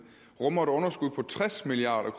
rummer et budgetteret underskud på tres milliard